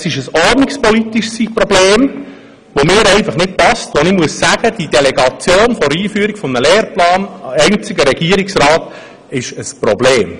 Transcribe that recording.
Es ist ein ordnungspolitisches Problem, das mir einfach nicht passt, denn die Delegation der Einführung eines Lehrplans einzig an den Regierungsrat ist ein Problem.